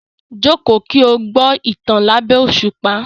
Jókòó kí o gbọ́ ìtàn lábẹ́ òṣùpá.